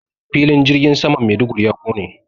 Filin jirgin saman Maiduguri ya ƙone.